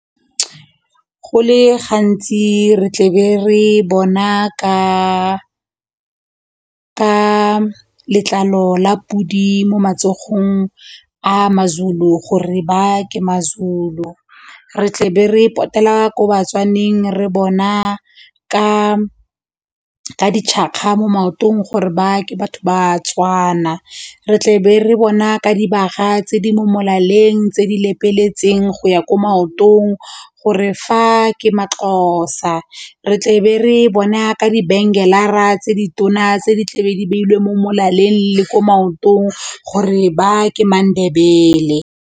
Go le gantsi re tlebe re bona ka letlalo la pudi mo matsogong a maZulu gore ba ke maZulu, re tle be re potela ko batswaneng re bona ka mo maotong gore ba ke batho ba tswana, re tlebe re bona ka dibaga tse di mo molaleng tse di lepeletseng go ya ko maotong gore fa ke maXhosa, re tle be re bona ka tse di tona tse di tlabe di beilweng mo molaleng le ko maotong gore ba ke maNdebele.